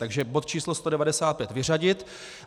Takže bod číslo 195 vyřadit.